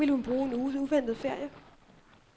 Hvordan ville hun bruge en uges uventet ferie?